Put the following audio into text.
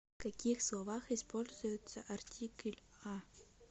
в каких словах используется артикль а